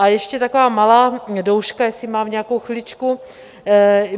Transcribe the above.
A ještě taková malá douška, jestli mám nějakou chviličku.